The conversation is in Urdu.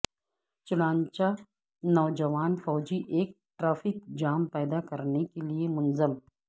چنانچہ نوجوان فوجی ایک ٹریفک جام پیدا کرنے کے لئے منظم